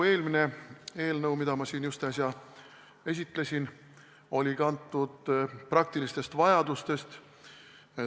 Eelmine eelnõu, mida ma siin äsja esitlesin, oli kantud praktilistest vajadustest.